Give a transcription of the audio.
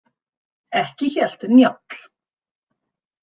Ekki hélt Njáll.